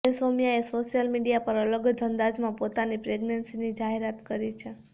હવે સૌમ્યાએ social media પર અલગ જ અંદાજમાં પોતાની પ્રેગનેન્સીની જાહેરાત કરી છે